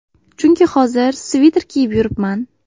Chunki hozir sviter kiyib yuribman.